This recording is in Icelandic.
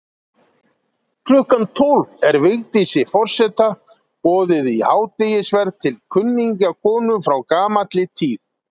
Klukkan tólf er Vigdísi forseta boðið í hádegisverð til kunningjakonu frá gamalli tíð.